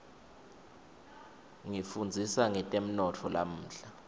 ngifundzisa ngetemnotfo lamuhla